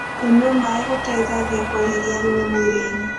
Kũnyua maĩ gũteĩthagĩa kweherĩa thũmũ mwĩrĩĩnĩ